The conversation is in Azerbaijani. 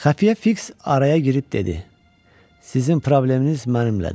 Xəfiyyə Fiks araya girib dedi: Sizin probleminiz mənimlədir.